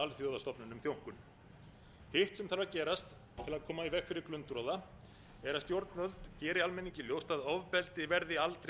alþjóðastofnunum þjónkun hitt sem þarf að gerast til að koma í veg fyrir glundroða er að stjórnvöld geri almenningi ljóst að ofbeldi verði aldrei